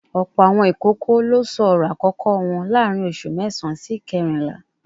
Ọ̀pọ̀ àwọn ìkókó ló sọ ọ̀rọ̀ àkọ́kọ́ wọn láàárín oṣù mẹ́sàán sí ìkérìnlá